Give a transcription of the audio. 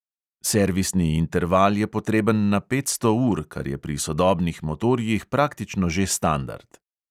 Servisni interval je potreben na petsto ur, kar je pri sodobnih motorjih praktično že standard.